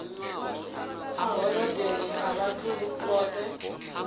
a holodeni a vhathu vhoṱhe